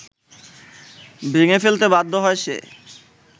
ভেঙে ফেলতে বাধ্য হয় সে